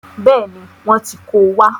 Bẹ́ẹ̀ni, wọ́n ti ko wá.